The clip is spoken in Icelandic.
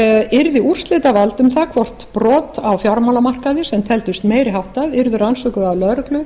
yrði úrslitavald um það hvort brot á fjármálamarkaði sem teldust meiri háttar yrðu rannsökuð af lögreglu